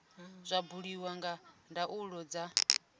zwa buliwa nga ndaulo dza